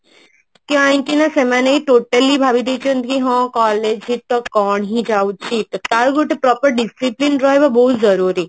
କାହିଁ କି ନା ସେମାନେ totally ଭାବି ଦେଇଛନ୍ତି କି ହଁ collage ରେ ହିଁ କଣ ଯାଉଛି ତ ଆଉ ଗୋଟେ proper discipline ରହିବ ବହୁତ ଜରୁରୀ